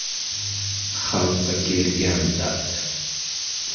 “Xalqqa kelgan dard.